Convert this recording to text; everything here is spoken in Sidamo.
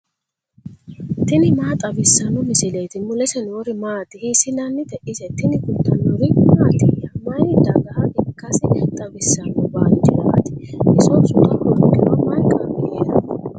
tini maa xawissanno misileeti ? mulese noori maati ? hiissinannite ise ? tini kultannori mattiya? Mayi dagaha ikkassi xawissanno bandeerati? iso sutta hoongiro mayi qarri heeranno?